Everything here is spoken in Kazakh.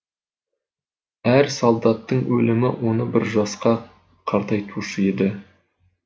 әр солдаттың өлімі оны бір жасқа қартайтушы еді